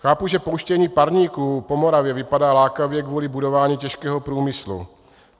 Chápu, že pouštění parníků po Moravě vypadá lákavě kvůli budování těžkého průmyslu.